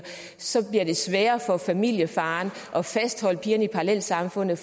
så bliver det sværere for familiefaren at fastholde pigerne i parallelsamfundene